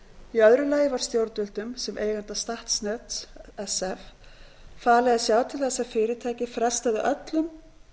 í öðru lagi var stjórnvöldum sem eiganda statsnets sf falið að sjá til þess að fyrirtækið frestaði öllum